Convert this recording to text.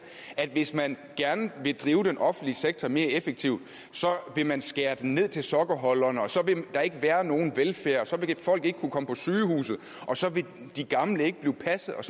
at hvis man gerne vil drive den offentlige sektor mere effektivt vil man skære den ned til sokkeholderne og så vil der ikke være nogen velfærd så vil folk ikke kunne komme på sygehuset og så vil de gamle ikke blive passet og